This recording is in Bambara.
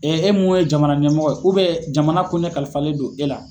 e mun ye jamana ɲɛmɔgɔ ye jamana ko ɲɛ kalifalen don e la.